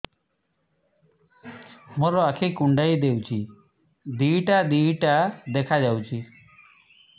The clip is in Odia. ମୋର ଆଖି କୁଣ୍ଡାଇ ହଉଛି ଦିଇଟା ଦିଇଟା ଦେଖା ଯାଉଛି